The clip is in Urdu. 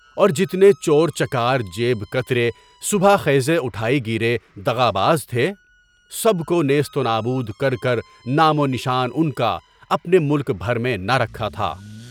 اور جتنے چور، چکار، جیب کترے، صبح خیز اٹھائی گیرے، دغا باز تھے، سب کو نیست و نابود کر کر، نام و نشان ان کا اپنے ملک بھر میں نہ رکھا تھا۔